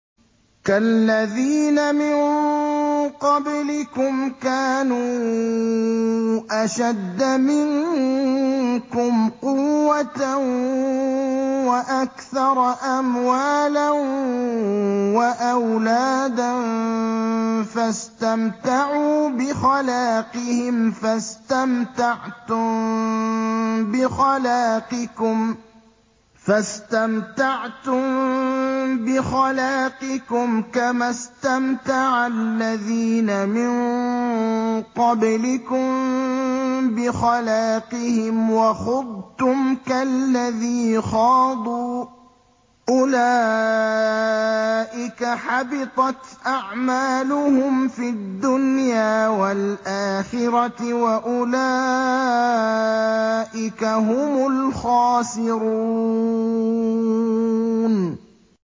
كَالَّذِينَ مِن قَبْلِكُمْ كَانُوا أَشَدَّ مِنكُمْ قُوَّةً وَأَكْثَرَ أَمْوَالًا وَأَوْلَادًا فَاسْتَمْتَعُوا بِخَلَاقِهِمْ فَاسْتَمْتَعْتُم بِخَلَاقِكُمْ كَمَا اسْتَمْتَعَ الَّذِينَ مِن قَبْلِكُم بِخَلَاقِهِمْ وَخُضْتُمْ كَالَّذِي خَاضُوا ۚ أُولَٰئِكَ حَبِطَتْ أَعْمَالُهُمْ فِي الدُّنْيَا وَالْآخِرَةِ ۖ وَأُولَٰئِكَ هُمُ الْخَاسِرُونَ